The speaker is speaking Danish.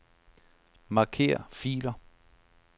Marker filer.